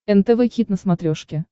нтв хит на смотрешке